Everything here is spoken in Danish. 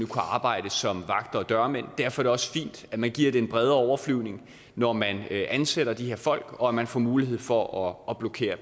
kunne arbejde som vagter og dørmænd derfor er det også fint at man giver det en bredere overflyvning når man ansætter de her folk og at man får mulighed for at blokere